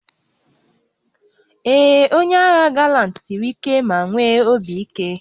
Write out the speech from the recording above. Ee, onye agha galant siri ike ma nwee obi ike